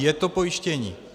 Je to pojištění?